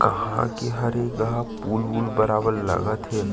कहा की हरे जा पुल उल बराबर लगत हे ।--